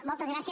moltes gràcies